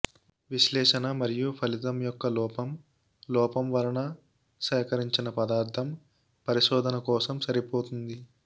విశ్లేషణ మరియు ఫలితం యొక్క లోపం లోపం వలన సేకరించిన పదార్థం పరిశోధన కోసం సరిపోతుంది